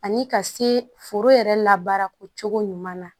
Ani ka se foro yɛrɛ la baara ko cogo ɲuman na